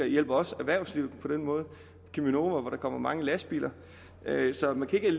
hjælper også erhvervslivet på den måde cheminova hvor der kommer mange lastbiler så man kan ikke